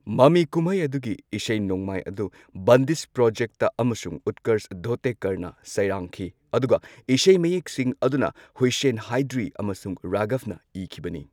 ꯃꯃꯤ ꯀꯨꯝꯍꯩ ꯑꯗꯨꯒꯤ ꯏꯁꯩ ꯅꯣꯡꯃꯥꯏ ꯑꯗꯨ ꯕꯟꯗꯤꯁ ꯄ꯭ꯔꯣꯖꯦꯛꯇ ꯑꯃꯁꯨꯡ ꯎꯠꯀꯔꯁ ꯙꯣꯇꯦꯀꯔꯅ ꯁꯩꯔꯥꯡꯈꯤ ꯑꯗꯨꯒ ꯏꯁꯩ ꯃꯌꯦꯛꯁꯤꯡ ꯑꯗꯨꯅ ꯍꯨꯁꯦꯟ ꯍꯥꯏꯗ꯭ꯔꯤ ꯑꯃꯁꯨꯡ ꯔꯥꯘꯕꯅ ꯏꯈꯤꯕꯅꯤ꯫